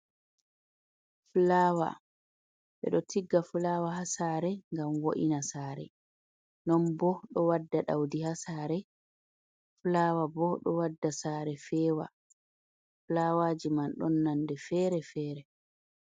Fulawa, ɓe ɗo tigga fulawa ha sare gam wo’ina sare. Non bo ɗo wadda ɗaudi ha sare. Fulawa bo ɗo waɗa sare fewa. Fulawaji man ɗon nonde fere-fere.